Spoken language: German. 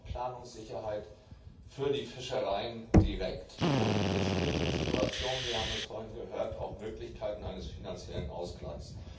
Er bringt auch Planungssicherheit für die Fischereien direkt, und in schwierigen Situationen wir haben es vorhin gehört auch Möglichkeiten eines finanziellen Ausgleichs.